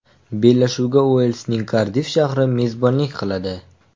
Bellashuvga Uelsning Kardiff shahri mezbonlik qiladi.